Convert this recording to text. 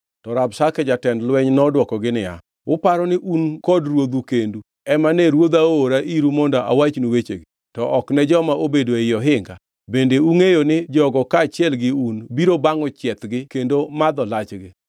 To Rabshake jatend lweny nodwokogi niya, “Uparo ni un kod ruodhu kendu ema ne ruodha oora iru mondo awachnu wechegi, to ok ne joma obedo ei ohinga; bende ungʼeyo ni jogo kaachiel gi un biro bangʼo chiethgi kendo madho lachgi?”